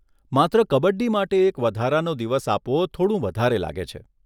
માત્ર કબડ્ડી માટે એક વધારાનો દિવસ આપવો થોડું વધારે લાગે છે.